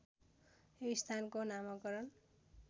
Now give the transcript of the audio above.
यो स्थानको नामाकरण